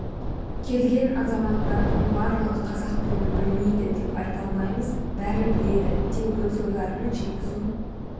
келген азаматтардың барлығы қазақ тілін білмейді деп айта алмаймыз бәрі біледі тек өз ойларын жеткізу